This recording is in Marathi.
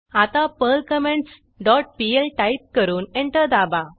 आता Perl comments dot pl type करून एंटर दाबा